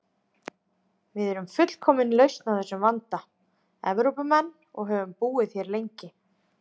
Við erum fullkomin lausn á þessum vanda: Evrópumenn, og höfum búið hér lengi.